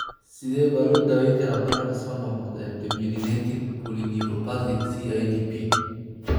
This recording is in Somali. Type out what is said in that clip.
Sidee baa loo daweyn karaa bararka soo noqnoqda ee demyelinating polyneuropathy (CIDP)?